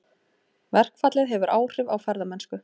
Verkfallið hefur áhrif á ferðamennsku